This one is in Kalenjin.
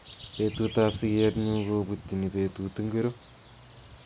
Betutab sigetnyu kobutini betut ingiro